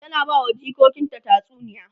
ta na bawa jikokinta tatsuniya